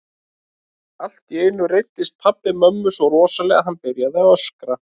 Allt í einu reiddist pabbi mömmu svo rosalega að hann byrjaði að öskra.